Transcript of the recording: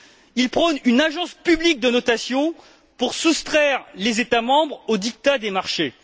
Ils prônent une agence publique de notation pour soustraire les États membres au diktat des marchés.